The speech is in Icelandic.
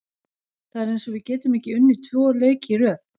Það er eins og við getum ekki unnið tvo leiki í röð.